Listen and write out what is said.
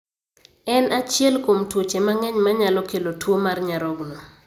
En achiel kuom tuoche mang'eny manyalo kelo tuo mar nyarogno